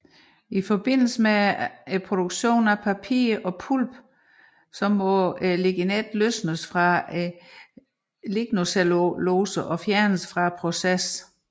I forbindelse med produktion af papir og pulp må ligninet løsnes fra lignocellulosen og fjernes fra processen